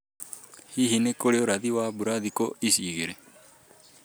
Hihi nĩ kũrĩ ũrathi wa mbura thikũ ici igĩrĩ?